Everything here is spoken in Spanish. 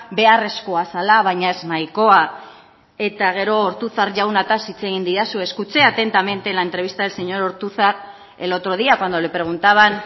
beharrezkoa zela baina ez nahikoa eta gero ortuzar jaunataz hitz egin didazu escuché atentamente la entrevista del señor ortuzar el otro día cuando le preguntaban